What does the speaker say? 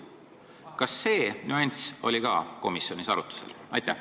Kas see nüanss oli komisjonis arutlusel?